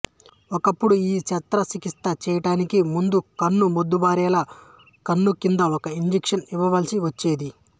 ఒకప్పుడు ఈ శస్త్ర చికిత్స చేయడానికి ముందు కన్ను మొద్దుబారేలా కన్ను కింద ఒక ఇంజెక్షన్ ఇవ్వ వలసి వచ్చేది